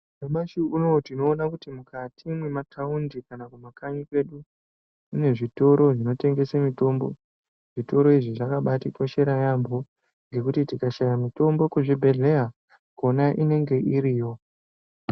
Nyamashi unowu tinoona kuti mukati mwe mataundi kana ku makanyi kwedu kune zvitoro zvino tengese mitombo zvitoro izvi zvakabaiti koshera yambo ngekuti tikashaya mitombo ku zvibhedhlera kona inenge iriyo.